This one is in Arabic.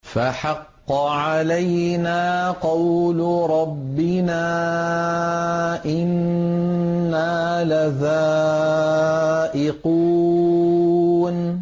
فَحَقَّ عَلَيْنَا قَوْلُ رَبِّنَا ۖ إِنَّا لَذَائِقُونَ